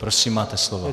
Prosím, máte slovo.